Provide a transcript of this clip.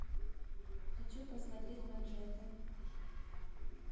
хочу посмотреть манжеты